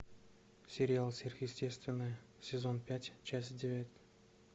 сериал сверхъестественное сезон пять часть девять